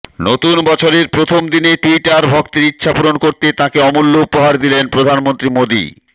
নতুন বছরের প্রথম দিনে ট্যুইটার ভক্তের ইচ্ছে পূরণ করতে তাঁকে অমুল্য উপহার দিলেন প্রধানমন্ত্রী মোদী